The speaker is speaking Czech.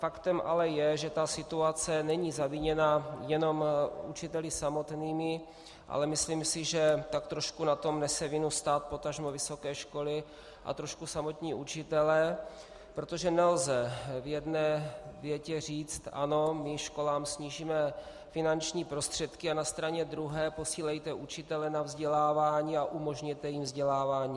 Faktem ale je, že ta situace není zaviněna jenom učiteli samotnými, ale myslím si, že tak trošku na tom nese vinu stát, potažmo vysoké školy a trošku samotní učitelé, protože nelze v jedné větě říct - ano, my školám snížíme finanční prostředky, a na straně druhé - posílejte učitele na vzdělávání a umožněte jim vzdělávání.